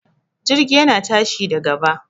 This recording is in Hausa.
Jirgi yana tashi da gaba